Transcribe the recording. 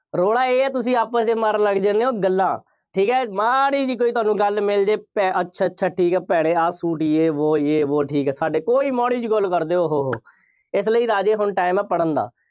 ਰੌਲਾ ਇਹ ਹੈ ਤੁਸੀਂ ਆਪਸ ਵਿੱਚ ਮਾਰਨ ਲੱਗ ਜਾਂਦੇ ਹੋ ਗੱਲਾਂ, ਠੀਕ ਹੈ, ਮਾੜ੍ਹੀ ਜਿਹੀ ਕੋਈ ਤੁਹਾਨੂੰ ਗੱਲ ਮਿਲ ਜਾਏ, ਭੈ~ ਅੱਛਾ ਅੱਛਾ ਠੀਕ ਹੈ, ਭੈਣੇ ਆਹ ਸੂਟ, ਯੇਹ ਵੋਹ, ਯੇਹ ਵੋਹ, ਠੀਕ ਹੈ, ਸਾਡੇ, ਕੋਈ ਮਾੜ੍ਹੀ ਜਿਹੀ ਗੱਲ ਕਰਦੇ, ਉਹ ਹੋ ਹੋ, ਇਸ ਲਈ ਰਾਜੇ ਹੁਣ time ਹੈ ਪੜ੍ਹਨ ਦਾ